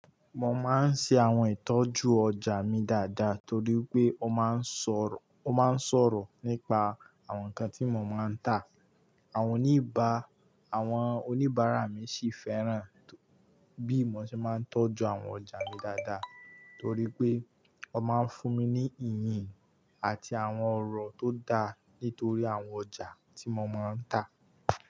Mo máa ń ṣe àwọn ìtọ́jú ọjà mi dáadáa torí pé ó máa ń sọ̀rọ̀, ó máa ń sọ̀rọ̀ nípa àwọn nǹkan tí mo máa ń tà. Àwọn oníbà, àwọn oníbàárà mi sì fẹ́ràn bí mò ṣe máa ń tọ́jú àwọn ọjà mi dáadáa torí pé wọ́n máa ń fún mi ní ìyìn àti àwọn ọ̀rọ̀ tó dáa nítorí àwọn ọjà tí mo máa ń tà.